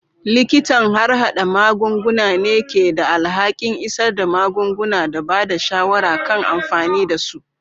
Likitan harhada magunguna ne ke da alhakin isar da magunguna da ba da shawara kan amfani da su.